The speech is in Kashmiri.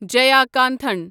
جیاکانٹھن